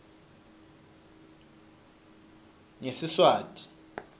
ngesiswati